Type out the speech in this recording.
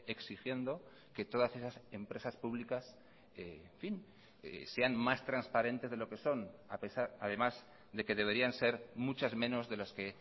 exigiendo que todas esas empresas públicas en fin sean más transparentes de lo que son además de que deberían ser muchas menos de las que